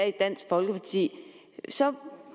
i dansk folkeparti så